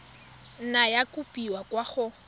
nna ya kopiwa kwa go